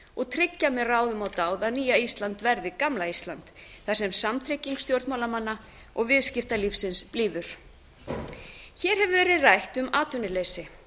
og tryggja með ráðum og dáð að nýja ísland verði gamla ísland þar sem samtrygging stjórnmálamanna og viðskiptalífsins blífur hér hefur verið rætt um atvinnuleysi